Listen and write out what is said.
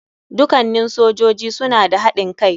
Dukannin sojoji suna da haɗin kai.